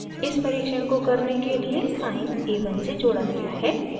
इस परिक्षण को करने के लिए sine a1 से जोड़ा गया है